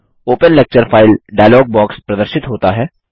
open lecture file dialogue box प्रदर्शित होता है